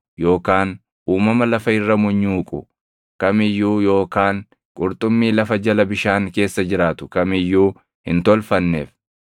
yookaan uumama lafa irra munyuuqu kam iyyuu yookaan qurxummii lafa jala bishaan keessa jiraatu kam iyyuu hin tolfanneef.